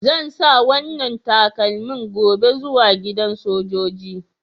Zan sa wanan kamanni gobe zuwa gidan sojoji.